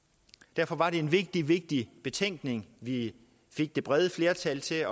derfor var det en vigtig vigtig betænkning vi fik det brede flertal til